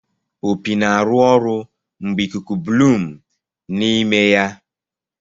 Opi na-arụ ọrụ mgbe ikuku Blum n'ime ya.